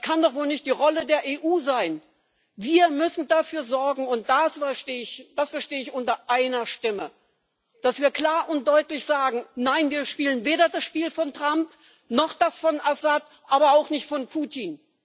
Das kann doch wohl nicht die Rolle der EU sein! Wir müssen dafür sorgen und das verstehe ich unter einer Stimme dass wir klar und deutlich sagen Nein, wir spielen weder das Spiel von Trump noch das von Assad, aber auch nicht das von Putin.